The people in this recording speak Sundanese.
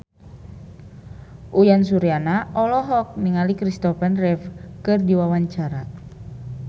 Uyan Suryana olohok ningali Christopher Reeve keur diwawancara